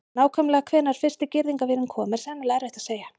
Nákvæmlega hvenær fyrsti girðingarvírinn kom er sennilega erfitt að segja.